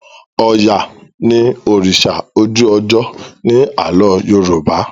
oya ní òrìṣà ojú ojo ní Àló̩ yoruba